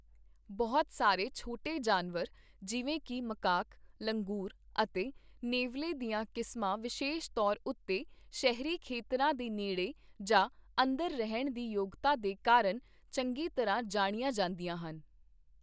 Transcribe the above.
ਬਹੁਤ ਸਾਰੇ ਛੋਟੇ ਜਾਨਵਰ ਜਿਵੇਂ ਕਿ ਮਕਾਕ, ਲੰਗਰ ਅਤੇ ਨੇਵਲੇ ਦੀਆਂ ਕਿਸਮਾਂ ਵਿਸ਼ੇਸ਼ ਤੌਰ ਉੱਤੇ ਸ਼ਹਿਰੀ ਖੇਤਰਾਂ ਦੇ ਨੇੜੇ ਜਾਂ ਅੰਦਰ ਰਹਿਣ ਦੀ ਯੋਗਤਾ ਦੇ ਕਾਰਨ ਚੰਗੀ ਤਰ੍ਹਾਂ ਜਾਣੀਆਂ ਜਾਂਦੀਆਂ ਹਨ।